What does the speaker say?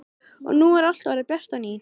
Og nú er allt orðið bjart á ný.